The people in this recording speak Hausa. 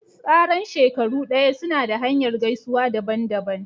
Tsaran shekaru daya suna da hanyar gaisuwa daban-daban.